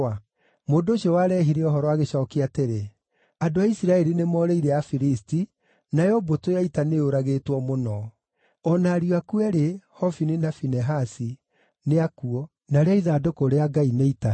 Mũndũ ũcio warehire ũhoro agĩcookia atĩrĩ, “Andũ a Isiraeli nĩmoorĩire Afilisti, nayo mbũtũ ya ita nĩyũragĩtwo mũno. O na ariũ aku eerĩ, Hofini na Finehasi, nĩ akuũ, narĩo ithandũkũ rĩa Ngai nĩitahe.”